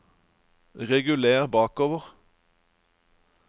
reguler bakover